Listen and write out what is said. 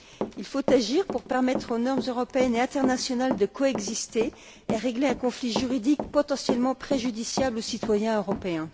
Il faut agir pour permettre aux normes européennes et internationales de coexister et régler un conflit juridique potentiellement préjudiciable au citoyen européen.